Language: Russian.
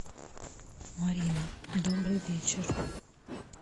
марина добрый вечер